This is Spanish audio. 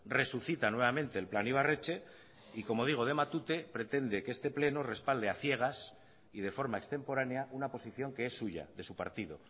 resucita nuevamente el plan ibarretxe y como digo de matute pretende que este pleno respalde a ciegas y de forma extemporánea una posición que es suya de su partido